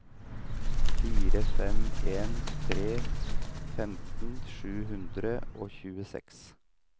fire fem en tre femten sju hundre og tjueseks